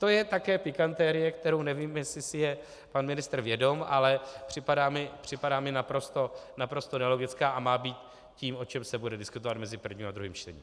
To je také pikantérie, které nevím, jestli si je pan ministr vědom, ale připadá mi naprosto nelogická a má být tím, o čem se bude diskutovat mezi prvním a druhým čtením.